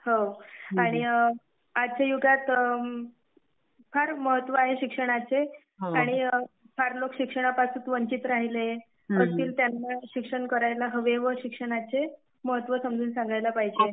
हो आणि आजच्या युगात, फार महत्व आहे शिक्षणाचे. आणि फार लोक शिक्षणापासून वंचीत राहिले. त्यामुळे शिक्षण करायला हवे व शिक्षणाचे महत्व समजून सांगायला पाहिजे.